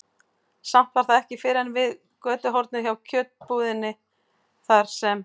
Samt var það ekki fyrr en við götuhornið hjá kjötbúðinni, þar sem